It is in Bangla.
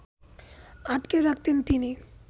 আটকে রাখতেন তিনি